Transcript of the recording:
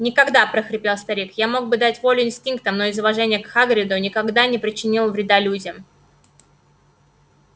никогда прохрипел старик я мог бы дать волю инстинктам но из уважения к хагриду никогда не причинил вреда людям